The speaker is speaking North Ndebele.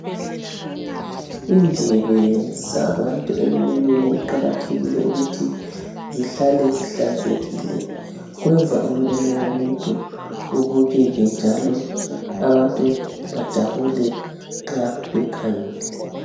Indebe zabantu emlonyeni kuqakathekile ukuthi zihlale zihlanzekile kwenza umlomo womuntu ubukeke njalo abantu bajabule nxa bekhangele.